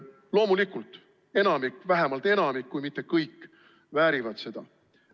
Loomulikult enamik, vähemalt enamik, kui mitte kõik väärivad seda.